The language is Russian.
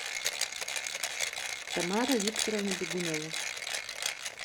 тамара викторовна бегунова